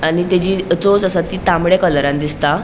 आणि तेचि चोच आसा ती तामड्या कलरान दिसता.